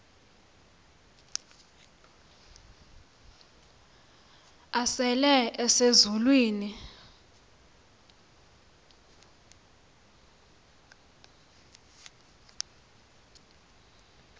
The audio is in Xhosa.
asele ese zulwini